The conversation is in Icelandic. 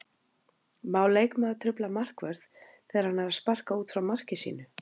Má leikmaður trufla markvörð þegar hann er að sparka út frá marki sínu?